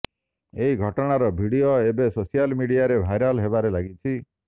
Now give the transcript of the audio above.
ଏହି ଘଟଣାର ଭିଡିଓ ଏବେ ସୋସିଆଲ ମିଡିଆରେ ଭାଇରାଲ ହେବାରେ ଲାଗିଛି